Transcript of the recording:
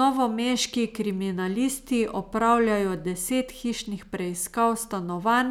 Novomeški kriminalisti opravljajo deset hišnih preiskav stanovanj